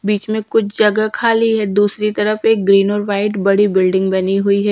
बीच में कुछ जगह खाली है दूसरी तरफ एक ग्रीन और वाइट बड़ी बिल्डिंग बनी हुई है।